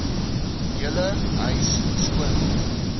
hele huis skoonmaak